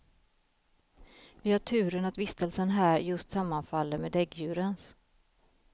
Vi har turen att vistelsen här just sammanfaller med däggdjurens.